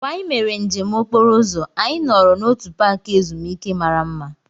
Mgbe anyị mere njem okporo ụzọ, anyị nọrọ n'otu paaki ezumike mara mma.